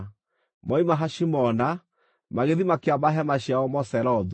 Moima Hashimona, magĩthiĩ makĩamba hema ciao Moserothu.